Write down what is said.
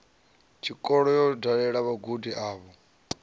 tshikolo yo dalela vhagudi avho